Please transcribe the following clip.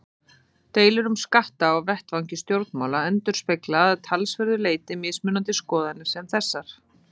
Deilur um skatta á vettvangi stjórnmála endurspegla að talsverðu leyti mismunandi skoðanir sem þessar.